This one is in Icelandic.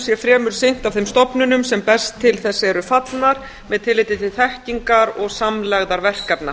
sé fremur sinnt af þeim stofnunum sem best til þess eru fallnar með tilliti til þekkingar og samlegðar verkefna